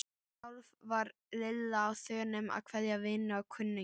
Sjálf var Lilla á þönum að kveðja vini og kunningja.